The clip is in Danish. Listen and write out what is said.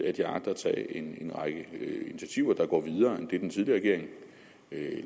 at jeg agter at tage en en række initiativer der går videre end det den tidligere regering